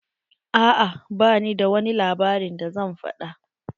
A'a ba bi da wani labarin da zan faɗa.